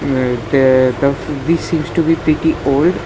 This seems to be pretty old.